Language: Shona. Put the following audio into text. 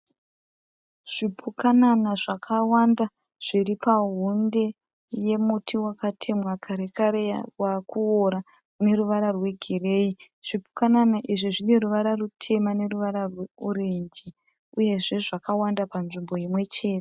Zvipukanana zvakawanda zviripa pahonde yemuti wakatemwa karekare wakuwora ineruvara rwe gireyi. Zvipukanana izvi zvineruvara rutema neruvara orenji ,uyezve zvakawanda panzvimbo imwe chete